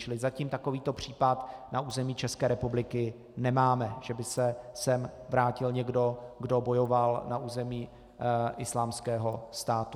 Čili zatím takovýto případ na území České republiky nemáme, že by se sem vrátil někdo, kdo bojoval na území Islámského státu.